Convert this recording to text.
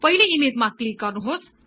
पहिले ईमेजमा क्लिक गर्नुहोस्